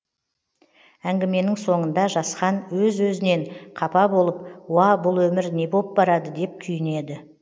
әңгіменің соңында жасхан өз өзінен қапа болып уа бұл өмір не боп барады деп күйінеді